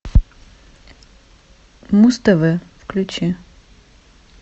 муз тв включи